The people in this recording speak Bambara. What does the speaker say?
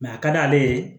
a ka d'ale ye